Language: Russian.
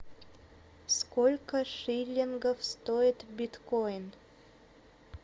сколько шиллингов стоит биткоин